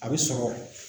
A bɛ sɔrɔ